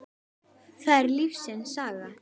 það er lífsins saga.